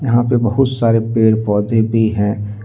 यहां पे बहुत सारे पेड़ पौधे भी हैं।